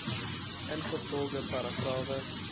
ingevolge paragrawe